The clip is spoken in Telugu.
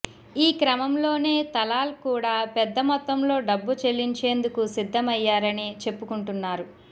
ఈ క్రమంలోనే తలాల్ కూడా పెద్ద మొత్తంలో డబ్బు చెల్లించేందుకు సిద్ధమయ్యారని చెప్పుకుంటున్నారు